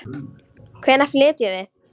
Hvenær flytjum við?